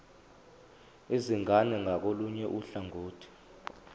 izingane ngakolunye uhlangothi